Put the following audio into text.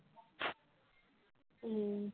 উম